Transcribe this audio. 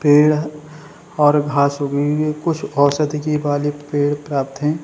पेड़ और घास उगी हुई है। कुछ औषधि के वाली पेड़ प्राप्त है।